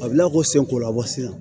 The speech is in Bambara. A bɛ lakɔsɛn kola wa se